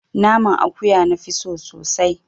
Naman akuya na fi so sosai